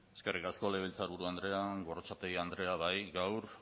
eskerrik asko legebiltzarburu andrea gorrotxategi andrea bai gaur